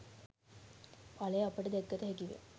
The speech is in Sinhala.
ඵලය අපට දැකගත හැකිවෙයි.